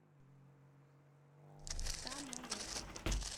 самолет